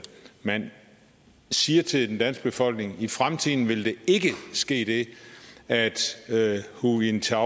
man siger til den danske befolkning i fremtiden vil der ikke ske det at hu jintao